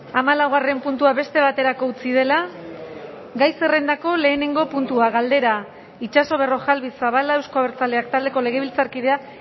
hamalaugarren puntua beste baterako utzi dela gai zerrendako lehenengo puntua galdera itxaso berrojalbiz zabala euzko abertzaleak taldeko legebiltzarkideak